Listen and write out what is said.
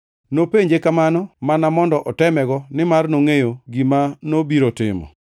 Nopenje kamano mana mondo otemego nimar nongʼeyo gima nobiro timo.